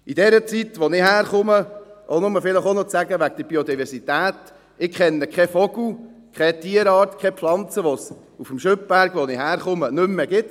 In dieser Zeit, aus der ich komme, um auch noch über die Diversität etwas zu sagen ... Ich kenne keinen Vogel, keine Tierart, keine Pflanze, welche es, seit ich lebe, auf dem Schüpberg, von wo ich komme, nicht mehr gibt.